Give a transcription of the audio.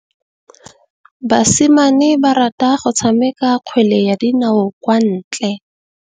Basimane ba rata go tshameka kgwele ya dinaô kwa ntle.